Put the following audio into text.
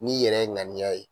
N'i yɛrɛ ŋaniya ye